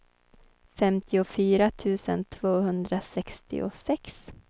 femtiofyra tusen tvåhundrasextiosex